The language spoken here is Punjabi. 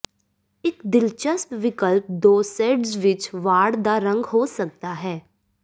ਇੱਕ ਦਿਲਚਸਪ ਵਿਕਲਪ ਦੋ ਸ਼ੇਡਜ਼ ਵਿੱਚ ਵਾੜ ਦਾ ਰੰਗ ਹੋ ਸਕਦਾ ਹੈ